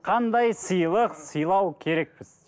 қандай сыйлық сыйлау керекпіз